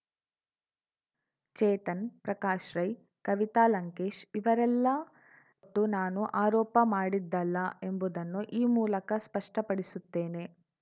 ಚೇತನ್‌ ಪ್ರಕಾಶ್‌ ರೈ ಕವಿತಾ ಲಂಕೇಶ್‌ ಇವರೆಲ್ಲಾ ಟ್ಟು ನಾನು ಆರೋಪ ಮಾಡಿದ್ದಲ್ಲ ಎಂಬುದನ್ನು ಈ ಮೂಲಕ ಸ್ಪಷ್ಟಪಡಿಸುತ್ತೇನೆ